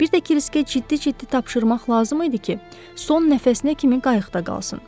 Bir də Kriskə ciddi-ciddi tapşırmaq lazım idi ki, son nəfəsinə kimi qayıqda qalsın.